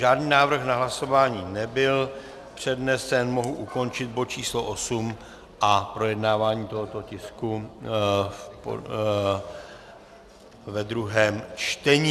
Žádný návrh na hlasování nebyl přednesen, mohu ukončit bod číslo 8 a projednávání tohoto tisku ve druhém čtení.